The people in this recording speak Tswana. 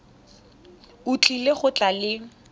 o tlile go tla le